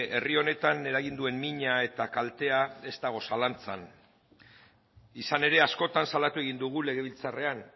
herri honetan eragin duen mina eta kaltea ez dago zalantzan izan ere askotan salatu egin dugu legebiltzarrean